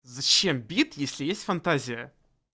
зачем бит если есть фантазия